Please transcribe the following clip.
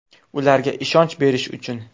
Ularga ishonch berish uchun!